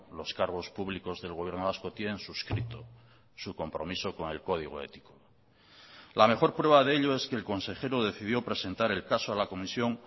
los cargos públicos del gobierno vasco tienen suscrito su compromiso con el código ético la mejor prueba de ello es que el consejero decidió presentar el caso a la comisión